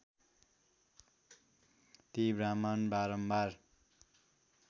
ती ब्राहमण बारम्बार